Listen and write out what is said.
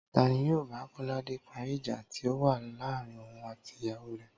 Ta ni yóò bá Kó̩ládé parí ìjà tí ó wà láàarín òun àti ìyàwó rè̩?